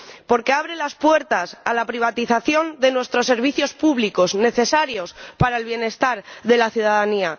porque abre las puertas a la privatización de nuestros servicios públicos, necesarios para el bienestar de la ciudadanía